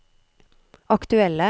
aktuelle